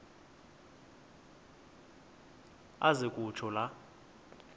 aze kutsho la